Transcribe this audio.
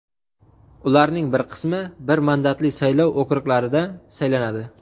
ularning bir qismi bir mandatli saylov okruglarida saylanadi.